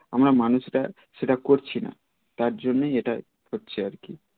আমরা মানুষরা সেটা করছি না তার জন্যেই এটা হচ্ছে আর কি